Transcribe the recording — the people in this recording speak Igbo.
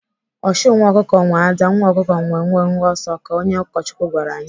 Ọchụ nwa ọkụkọ nwee ada, nwa ọkụkọ nwee mwe mwe ọsọ ka onye ụkọchukwu gwara anyị.